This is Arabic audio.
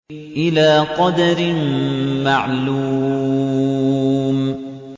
إِلَىٰ قَدَرٍ مَّعْلُومٍ